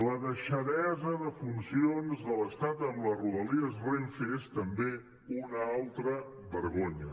la deixadesa de funcions de l’estat en les rodalies renfe és també una altra vergonya